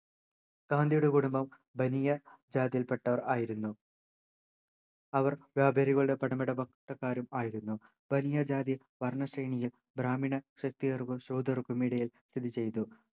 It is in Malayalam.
ഗാന്ധിയുടെ കുടുംബം ബനിയ ജാതിയിൽ പെട്ടവർ ആയിരുന്നു അവർ വ്യാപാരികളുടെ പണമിടപാട് ട്ടക്കാരും ആയിരുന്നു ബനിയ ജാതി വർണ്ണ ശ്രേണിയിൽ ബ്രാഹ്മണ ക്ഷത്രിയർകൾ ശൂദ്രർകൾക്കും ഇടയിൽ സ്ഥിതി ചെയ്തു